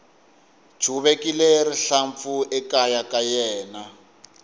chuvekile rihlampfu ekaya ka yena